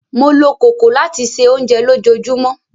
Mó ló kòkò lati se ounjẹ lojoojumọ.